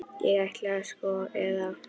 Ég ætlaði aldrei, sko, eða.